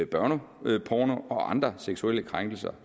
børneporno og andre seksuelle krænkelser